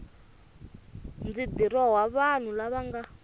ndzi dirowa vanhu lava nga